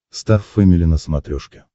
стар фэмили на смотрешке